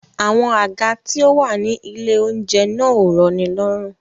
Àwọn àga tí ó wà ní ilé-oúnjẹ náà ò rọnilọ́rùn.